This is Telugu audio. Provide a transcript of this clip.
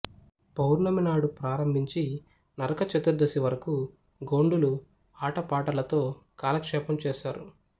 పౌర్ణమి నాడు ప్రారంభించి నరకచతుర్దశి వరకు గోండులు ఆటపాటలతో కాలక్షేపం చేస్తారు